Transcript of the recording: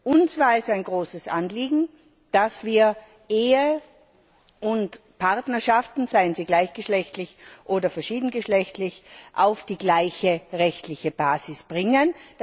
Uns war es ein großes Anliegen, dass wir Ehen und Partnerschaften seien sie gleichgeschlechtlich oder verschieden geschlechtlich auf die gleiche rechtliche Basis bringen.